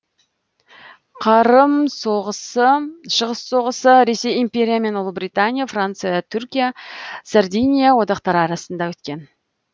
қырым соғысы шығыс соғысы ресей империя мен ұлыбритания франция түркия сардиния одақтары арасында өткен